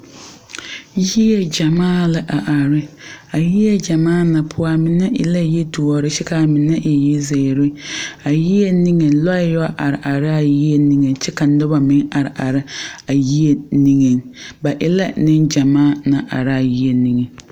Yie gyamaa la a are. A yie gyamaa na poʊ, a meneve la yi duore kyɛ ka a mene e yi ziire. A yie niŋe lɔe yoɔ are areɛ a yie niŋe kyɛ ka noba meŋ are are a yie niŋeŋ. Ba e la ne gyamaa naŋ are a yie niŋe